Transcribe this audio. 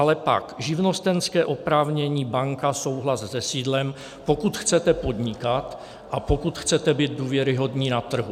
Ale pak živnostenské oprávnění - banka souhlas se sídlem, pokud chcete podnikat, a pokud chcete být důvěryhodní na trhu.